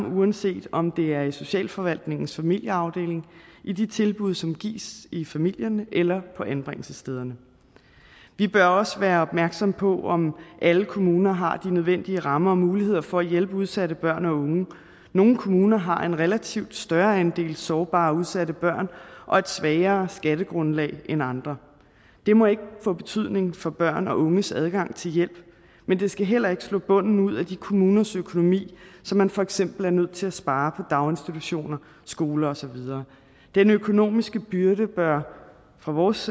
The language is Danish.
uanset om det er i socialforvaltningens familieafdeling i de tilbud som gives i familierne eller på anbringelsesstederne vi bør også være opmærksomme på om alle kommuner har de nødvendige rammer og mulighed for at hjælpe udsatte børn og unge nogle kommuner har en relativt større andel af sårbare og udsatte børn og et svagere skattegrundlag end andre det må ikke få betydning for børn og unges adgang til hjælp men det skal heller ikke slå bunden ud af de kommuners økonomi så man for eksempel er nødt til at spare på daginstitutioner skoler og så videre den økonomiske byrde bør fra vores